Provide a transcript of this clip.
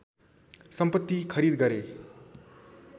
सम्पत्ति खरिद गरे